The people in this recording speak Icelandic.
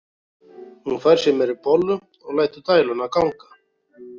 Hún fær sér meiri bollu og lætur dæluna ganga.